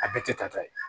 A bɛɛ tɛ tata ye